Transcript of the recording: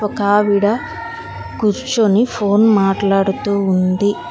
ఒక ఆవిడ కూర్చొని ఫోన్ మాట్లాడుతూ ఉంది.